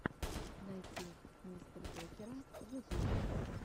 найти мистердокера ютуб